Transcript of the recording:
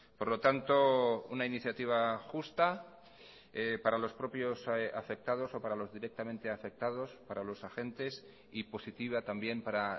por lo tanto una iniciativa justa para los propios afectados o para los directamente afectados para los agentes y positiva también para